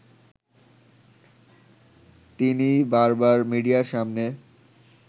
তিনি বারবার মিডিয়ার সামনে